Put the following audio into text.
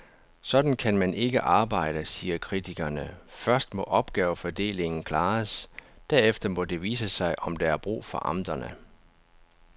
Sådan kan man ikke arbejde, siger kritikerne, først må opgavefordelingen klares, derefter må det vise sig, om der er brug for amterne.